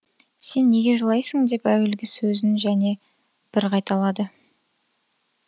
сен неге жылайсың деп әуелгі сөзін және бір қайталады